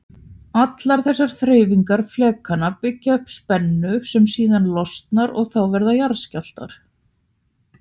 Allar þessar hreyfingar flekanna byggja upp spennu sem síðan losnar og þá verða jarðskjálftar.